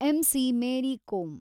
MC. Mary Kom